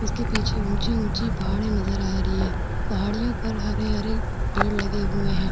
उसके पीछे ऊंची-ऊंची पहाड़ी नज़र आ रही है। पहाड़ियों पर हरे-हरे पेड़ लगे हुए हैं।